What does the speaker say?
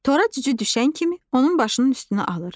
Tora cücü düşən kimi onun başının üstünü alır.